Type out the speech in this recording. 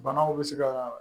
Banaw bɛ se ka